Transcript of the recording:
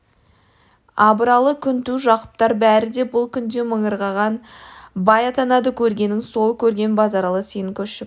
абыралы күнту жақыптар бәрі де бұл күнде мыңғырған бай атанады көргенің сол көрген базаралы сен көшіп